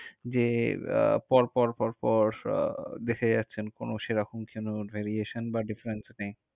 যে আহ পরপর পরপর দেখে যাচ্ছেন, কোন সেরকম কোনো variation বা difference নেই।